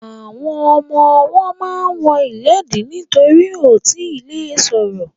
Àwọn ọmọwọ́ ma ń wọ ìléèdí nítorí wọn ò tíì le ṣọ̀rọ̀.